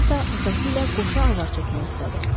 Gah da atası ilə qoşa avar çəkmək istədi.